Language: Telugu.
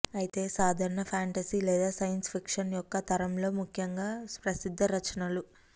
అయితే సాధారణ ఫాంటసీ లేదా సైన్స్ ఫిక్షన్ యొక్క తరంలో ముఖ్యంగా ప్రసిద్ధ రచనలు